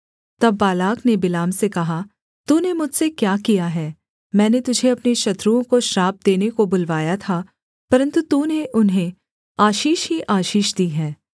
तब बालाक ने बिलाम से कहा तूने मुझसे क्या किया है मैंने तुझे अपने शत्रुओं को श्राप देने को बुलवाया था परन्तु तूने उन्हें आशीष ही आशीष दी है